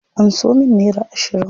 Anso min nera ashirin.